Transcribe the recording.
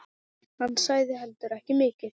Hann sagði heldur ekki mikið.